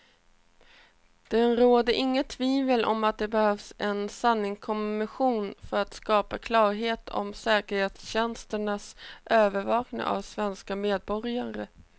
Det råder inget tvivel om att det behövs en sanningskommission för att skapa klarhet om säkerhetstjänsternas övervakning av svenska medborgare.